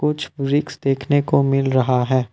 कुछ टूरिस्ट देखने को मिल रहा है।